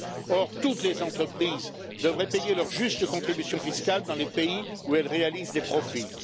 Or, toutes les entreprises devraient payer leur juste contribution fiscale dans les pays où elles réalisent des profits.